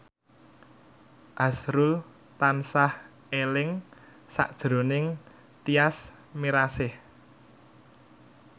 azrul tansah eling sakjroning Tyas Mirasih